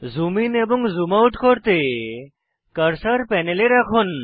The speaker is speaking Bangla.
জুম ইন এবং জুম আউট করতে কার্সার প্যানেলে রাখুন